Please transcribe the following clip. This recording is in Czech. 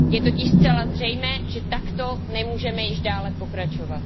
Je totiž zcela zřejmé, že takto nemůžeme již dále pokračovat.